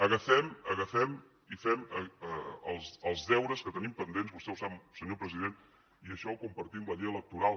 agafem i fem els deures que tenim pendents vostè ho sap senyor president i això ho compartim la llei electoral